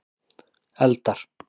eldar